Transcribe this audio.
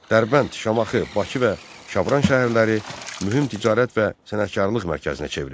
Dərbənd, Şamaxı, Bakı və Şabran şəhərləri mühüm ticarət və sənətkarlıq mərkəzinə çevrildi.